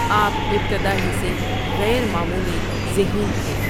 آپ ابتدا ہی سے غیر معمولی ذہین تھے۔